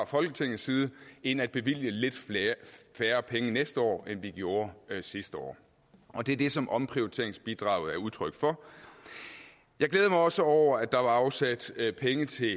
folketinget end at bevilge lidt færre penge næste år end vi gjorde sidste år og det er det som omprioriteringsbidraget er udtryk for jeg glæder mig også over at der blev afsat penge til